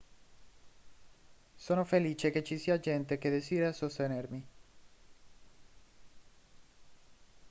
sono felice che ci sia gente che desidera sostenermi